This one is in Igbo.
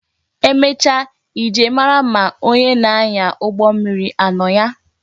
Emecha I jee mara ma onye na-anya ụgbọ mmiri anọ ya